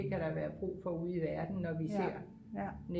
det kan der være brug for ude i verden når vi ser